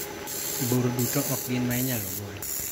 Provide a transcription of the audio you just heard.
Bur duto okgin mainyalo gol.